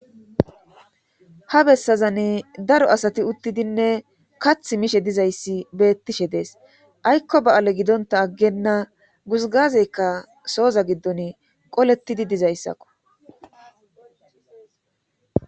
ha bessazani daro asati uttidinne kath mishe dizayssi beettishe dees aykko ba7ale gidonta aggenna guzgazeykka sooza giddon qolettidi dizayssakko